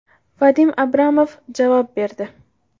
Vadim Abramov javob berdi.